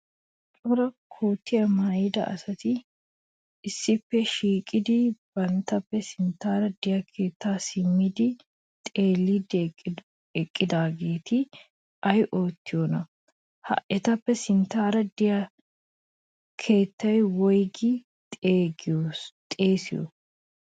Cora kuttaa maayida asati issippe shiiqidi banttappe sinttan de'iyaa keettako simmidi xeellidi eqqidaaheeti ay oottiyoona? Ha etappe sinttan de'iyaa keetta wpyggi xeessiyo?